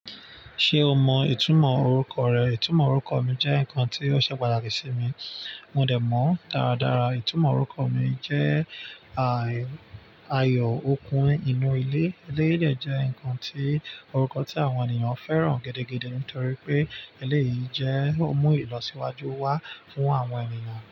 Ṣé o mọ ìtumọ̀ orúkọ rẹ? Ìtumọ̀ orúkọ mi jẹ́ nǹkan tí ó ṣe pàtàkì sí mi. Mo dẹ̀ mọ̀ dáradára ìtumọ̀ orúkọ mi jẹ́ àì, ayọ̀, okun inú ilé. Eléyìí jẹ́ ǹkan tí, orúkọ tí àwọn ènìyàn fẹ́ràn gẹ́gẹ́ gẹ́gẹ́ nítorí pé eléyìí jẹ́ òmù ìlọsíwájú wá fún àwọn ènìyàn.